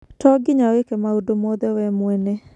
To nginya wĩke maũndu mothe we mwene.